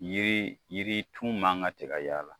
Yiri yiritu man ka se ka y'a la